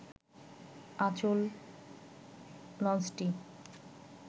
আঁচল লঞ্চটি